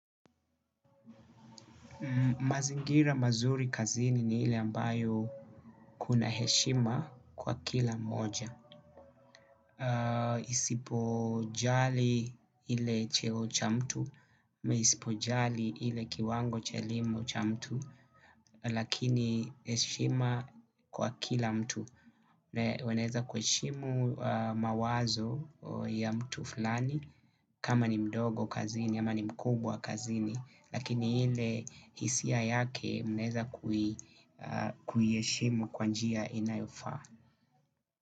Mazingira mazuri kazini ni ile ambayo kuna heshima kwa kila mmoja. Isipojali ile cheo cha mtu, ama isipojali ile kiwango cha elimu cha mtu, lakini heshima kwa kila mtu. Waeneza kuhishimu mawazo ya mtu fulani. Kama ni mdogo kazini, ama ni mkubwa kazini lakini ile hisia yake mnaeza kuiheshimu kwa njia inayofa.